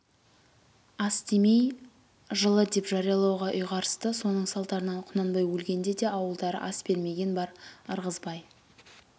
ас демей жылы деп жариялауға ұйғарысты соның салдарынан құнанбай өлгенде де ауылдары ас бермеген бар ырғызбай